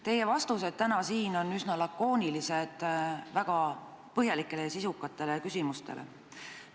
Teie vastused täna siin väga põhjalikele ja sisukatele küsimustele on üsna lakoonilised.